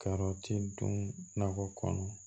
Karɔti dun nakɔ kɔnɔ